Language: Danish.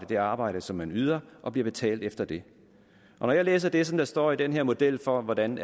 det arbejde som man yder og bliver betalt efter det når jeg læser det der står i den her model for hvordan